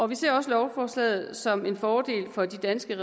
vi ser også lovforslaget som en fordel for de danske